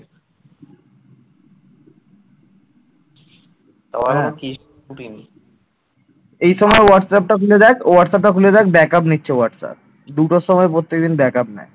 এই সময় whatsapp টা খুলে দেখ whatsapp টা খুলে দেখ backup নিচ্ছে whatsapp দুটোর সময় প্রত্যেকদিন backup নেই।